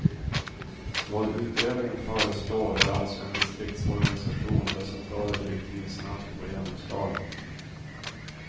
Vad utredningen föreslår är alltså en distriktsorganisation där centrala direktiv snabbt får genomslag.